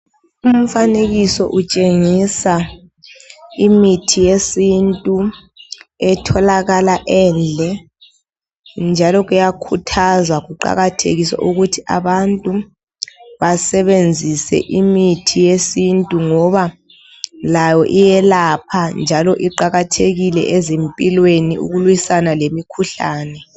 Umfanekiso utshengisa imithi yesintu etholakala endle njalo kuyakhuthaza kuqakathekiswe ukuthi abantu basebenzise imithi yesintu ngoba layo iyelapha njalo iqakathekile ezimpilweni ukulwisana lemikhuhlane.